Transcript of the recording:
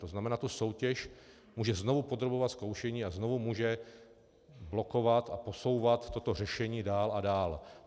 To znamená, tu soutěž může znovu podrobovat zkoušení a znovu může blokovat a posouvat toto řešení dál a dál.